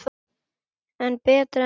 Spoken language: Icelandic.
En betra en ekkert.